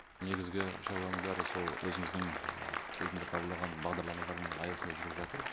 негізгі шаруаның бәрі сол өзіңіздің кезінде қабылдаған бағдарламалардың аясында жүріп жатыр